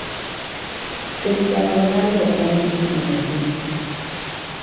Kristano Ronaldo en gi higni adi